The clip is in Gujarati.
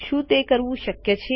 શું તે કરવું શક્ય છે